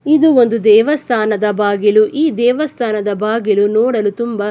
ಇದು ಒಂದು ದೇವಸ್ಥಾನದ ಬಾಗಿಲು ಈ ದೇವಸ್ಥಾನದ ಬಾಗಿಲು ನೋಡಲು ತುಂಬಾ.